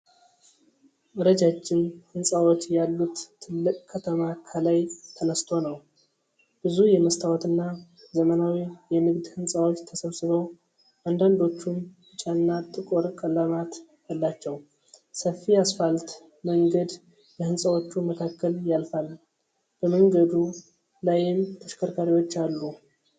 ረጃጅም ሕንፃዎች ያሉት ትልቅ ከተማ ከላይ ተነስቶ ነው። ብዙ የመስታወትና ዘመናዊ የንግድ ህንፃዎች ተሰብስበው ፣ አንዳንዶቹም ቢጫና ጥቁር ቀለማት አላቸው። ሰፊ አስፋልት መንገድ በሕንፃዎቹ መካከል ያልፋል፣ በመንገዱ ላይም ተሽከርካሪዎች አሉ።